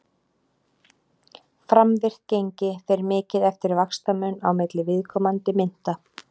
Framvirkt gengi fer mikið eftir vaxtamun á milli viðkomandi mynta.